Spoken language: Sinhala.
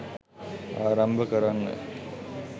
ආරම්භ කරන්න